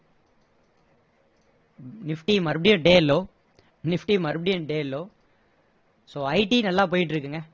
nifty மறுபடியும் day low nifty மறுபடியும் day low so IT நல்லா போயிட்டு இருக்குங்க